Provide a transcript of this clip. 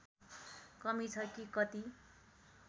कमी छ कि कति